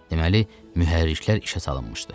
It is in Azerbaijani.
Deməli, mühərriklər işə salınmışdı.